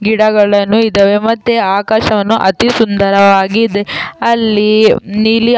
ಗಿಡಗಳನ್ನು ಇದಾವೆ ಮತ್ತೆ ಆಕಾಶವನ್ನು ಅತಿ ಸುಂದರವಾಗಿ ಇದೆ ಅಲ್ಲಿ ನೀಲಿಯ.